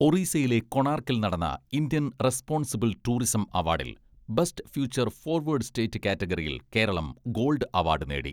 ഒറീസയിലെ കൊണാർക്കിൽ നടന്ന Indian responsible tourism അവാഡിൽ ബെസ്റ്റ് ഫ്യൂച്ചർ ഫോർവേർഡ് സ്റ്റേറ്റ് കാറ്റഗറിയിൽ കേരളം ഗോൾഡ് അവാഡ് നേടി.